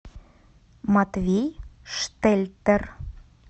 матвей штельтер